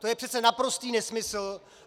To je přece naprostý nesmysl!